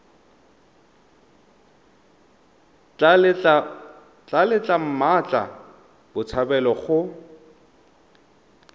tla letla mmatla botshabelo go